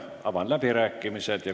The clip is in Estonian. Avan läbirääkimised.